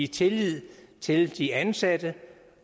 tillid til de ansatte